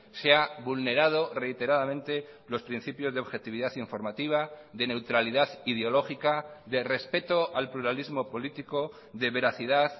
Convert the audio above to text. se ha vulnerado reiteradamente los principios de objetividad informativa de neutralidad ideológica de respeto al pluralismo político de veracidad